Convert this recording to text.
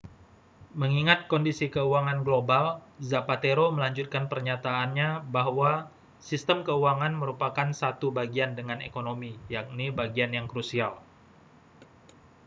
mengingat kondisi keuangan global zapatero melanjutkan pernyataannya bahwa sistem keuangan merupakan satu bagian dengan ekonomi yakni bagian yang krusial